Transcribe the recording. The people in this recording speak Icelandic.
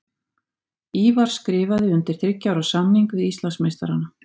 Ívar skrifaði undir þriggja ára samning við Íslandsmeistarana.